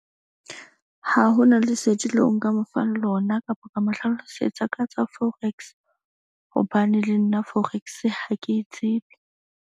Ha hona lesedi leo, nka mo fang lona kapa ka mo hlalosetsa ka tsa forex. Hobane le nna forex ha ke e tsebe.